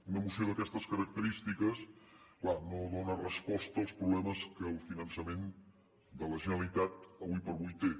una moció d’aquestes característiques clar no dóna resposta als problemes que el finançament de la generalitat ara per ara té